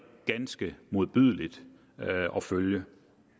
ganske modbydeligt at følge